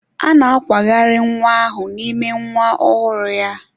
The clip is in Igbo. A na-akwagharị nwa ahụ n'ime nwa ọhụrụ ya.